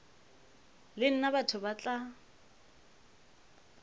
le nna batho ba tla